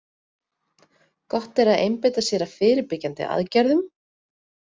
Gott er að einbeita sér að fyrirbyggjandi aðgerðum.